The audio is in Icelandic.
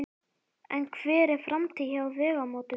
En hver er framtíðin hjá Vegamótum?